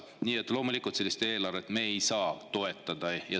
Nii et loomulikult ei saa me sellist eelarvet toetada.